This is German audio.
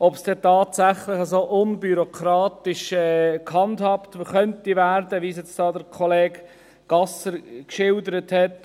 ob es denn tatsächlich so unbürokratisch gehandhabt werden könnte, wie Kollege Gasser es jetzt hier geschildert hat.